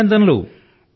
అభినందనలు